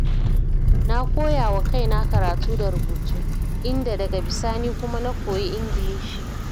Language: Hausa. Na koya wa kaina karatu da rubutu, inda daga bisani kuma na koyi Ingilishi.